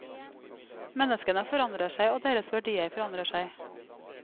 Menneskene forandrer seg, og deres verdier forandrer seg.